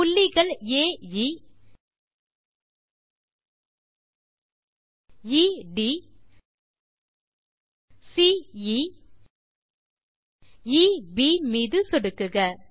புள்ளிகள் ஆ எ எ ட் சி எ எ ப் மீது சொடுக்குக